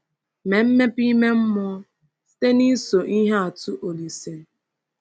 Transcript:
Mee mmepe ime mmụọ site n’iso ihe atụ Olise.